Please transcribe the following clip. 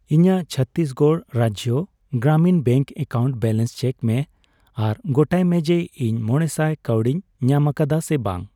ᱤᱧᱟᱜ Chhattisgarh Rajya Gramin bank account balance check ᱢᱮ ᱟᱨ ᱜᱚᱴᱟᱭ ᱢᱮ ᱡᱮ ᱤᱧ ᱢᱚᱲᱮᱥᱟᱭ ᱠᱟᱣᱰᱤᱧ ᱧᱟᱢᱟᱠᱟᱫᱟ ᱥᱮ ᱵᱟᱝ᱾